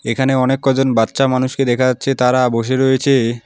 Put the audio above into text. এখানে অনেক কজন বাচ্চা মানুষকে দেখা যাচ্ছে তারা বসে রয়েছে।